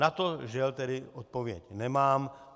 Na to, žel, tedy odpověď nemám.